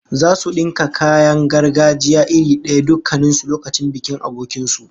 Zasu dinka kayan gargajiya iri daya dukkan su lokacin bikin abokin su